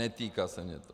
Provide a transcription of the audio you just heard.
Netýká se mě to.